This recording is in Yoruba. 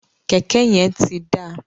Kẹkẹ yẹn ti da.